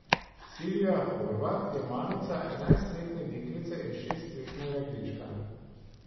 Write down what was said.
Silvija Horvat je mamica enajstletne deklice in šestletnega dečka.